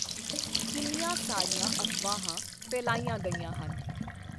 ਕਿੰਨੀਆਂ ਸਾਰੀਆਂ ਅਫ਼ਵਾਹਾਂ ਫੈਲਾਈਆਂ ਗਈਆਂ ਹਨ।